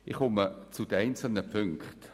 Ich komme zu den einzelnen Punkten.